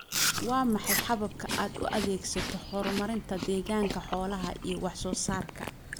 Waa maxay hababka aad u adeegsato horumarinta deegaanka xoolaha iyo wax soo saarka?